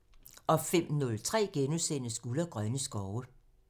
05:03: Guld og grønne skove *(tir)